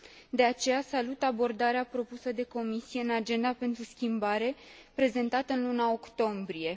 De aceea, salut abordarea propusă de Comisie în Agenda pentru schimbare prezentată în luna octombrie.